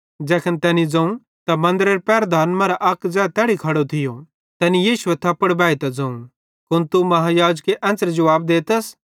ज़ैखन तैनी ज़ोवं त मन्दरेरे पहरदारन मरां अक ज़ै तैड़ी खड़ो थियो तैनी यीशुए थप्पड़ बैइतां ज़ोवं कुन तू महायाजक एन्च़रे जुवाब देतस